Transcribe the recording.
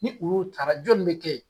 Ni olu tara jɔni be kɛ ye?